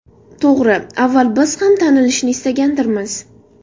To‘g‘ri, avval biz ham tanilishni istagandirmiz.